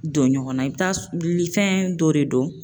Don ɲɔgɔnna i bɛ taa fɛn dɔ de don